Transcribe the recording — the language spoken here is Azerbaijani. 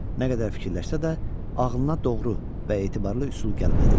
Nə qədər fikirləşsə də, ağlına doğru və etibarlı üsul gəlmədi.